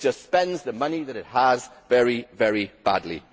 It just spends the money that it has very, very badly.